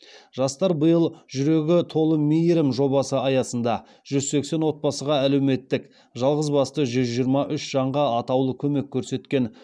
жастар биыл жүрегі толы мейірім жобасы аясында жүз сексен отбасыға әлеуметтік жалғызбасты жүз жиырма үш жанға атаулы көмек көрсеткен